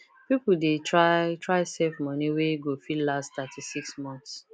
people dey try try save money wey go fit last 36 months